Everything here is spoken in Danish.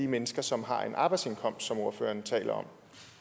mennesker som har en arbejdsindkomst som ordføreren taler om